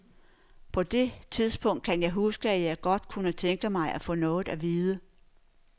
På det tidspunkt kan jeg huske, at jeg godt kunne tænke mig at få noget at vide.